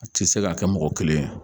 A tɛ se ka kɛ mɔgɔ kelen